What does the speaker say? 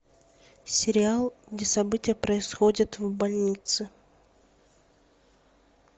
сериал где события происходят в больнице